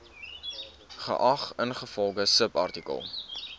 geag ingevolge subartikel